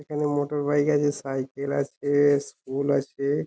এবং মোটরবাইক আছে সাইকেল আছে স্কুল আছে।